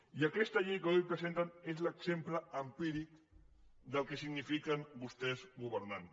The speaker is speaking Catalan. i aquesta llei que avui presenten és l’exemple empíric del que signifiquen vostès governant